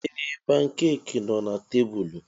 Ee! Pankeeki nọ na tebụlụ.